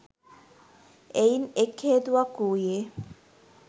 එයින් එක් හේතුවක් වූයේ,